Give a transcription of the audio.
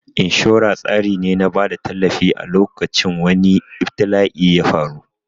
Inshora tsari ne na bada tallafi a lokacin wani ibtila'i yafaru